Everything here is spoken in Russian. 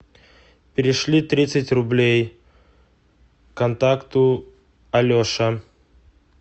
перешли тридцать рублей контакту алеша